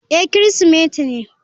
Eh Kirsimeti ne.